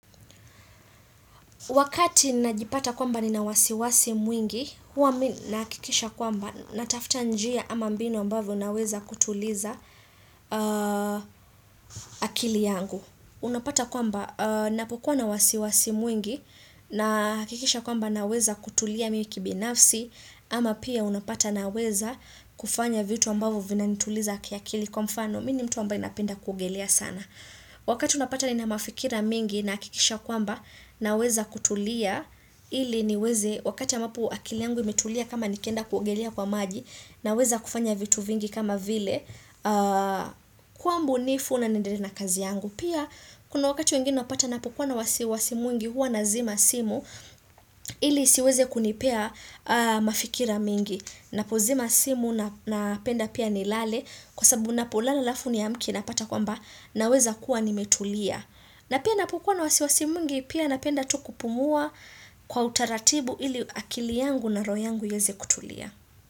Wakati najipata kwamba ni na wasiwasi mwingi, huwa mii na hakikisha kwamba natafuta njia ama mbinu ambavyo na weza kutuliza akili yangu. Unapata kwamba napokuwa na wasiwasi mwingi na hakikisha kwamba na weza kutulia mii kibinafsi ama pia unapata na weza kufanya vitu ambavyo vina nituliza akili kwa mfano. Mii ni mtu ambaye napenda kuogelea sana. Wakati unapata ni na mafikira mengi nahakikisha kwamba na weza kutulia ili niweze wakati ambapo akili yangu imetulia kama nikienda kuogelea kwa maji na weza kufanya vitu vingi kama vile kuwa mbunifu na naendelea na kazi yangu. Pia kuna wakati wengine napata napokuwa na wasiwasi mwingi huwa na zima simu ili isiweze kunipea mafikira mingi. Napo zima simu napenda pia ni lale kwa sababu napo lala alafu niamke napata kwamba naweza kuwa nimetulia. Napia napo kuwa na wasiwasi mwiingi pia napenda tu kupumua kwa utaratibu ili akili yangu na roho yangu iweze kutulia.